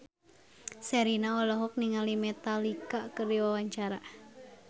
Sherina olohok ningali Metallica keur diwawancara